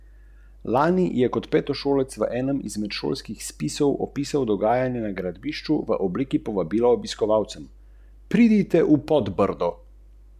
V šestem, sedmem in osmem mesecu pa se razvije strah pred tujci.